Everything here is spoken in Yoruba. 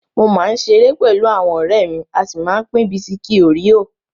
Mo máa ń ṣeré pẹlú àwọn ọ̀rẹ́ mi, a sì máa ń pín bisikí óríò.